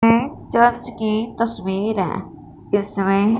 ये चर्च की तस्वीर है जिसमें--